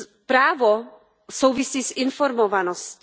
Právo souvisí s informovaností.